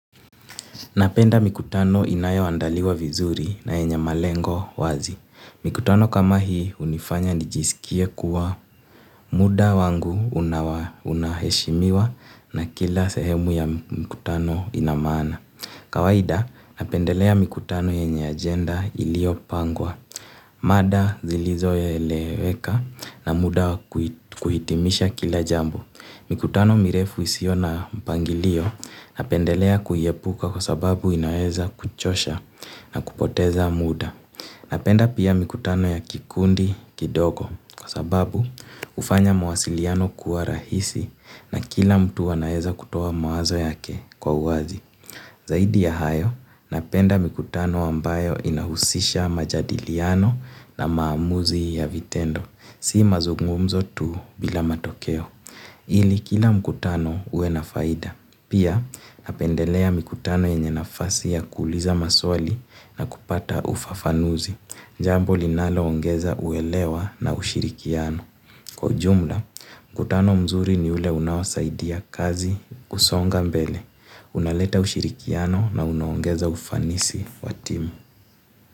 Napenda mikutano inayo andaliwa vizuri na yenye malengo wazi. Mikutano kama hii hunifanya nijisikie kuwa muda wangu unaheshimiwa na kila sehemu ya mikutano inamana. Kawaida napendelea mikutano yenye agenda ilio pangwa. Mada zilizo eleweka na muda wa kuhitimisha kila jambo. Mikutano mirefu isio na mpangilio napendelea kuiepuka kwa sababu inaeza kuchosha na kupoteza muda. Napenda pia mikutano ya kikundi kidogo kwa sababu hufanya mawasiliano kuwa rahisi na kila mtu wanaeza kutoa mawazo yake kwa uwazi. Zaidi ya hayo, napenda mikutano ambayo inahusisha majadiliano na maamuzi ya vitendo. Si mazungumzo tu bila matokeo. Ili kila mkutano uwe na faida. Pia napendelea mikutano yenye nafasi ya kuuliza maswali na kupata ufafanuzi. Jambo linalo ongeza uelewa na ushirikiano. Kwa ujumla, mkutano mzuri ni ule unawasaidia kazi kusonga mbele. Unaleta ushirikiano na unaongeza ufanisi wa timu.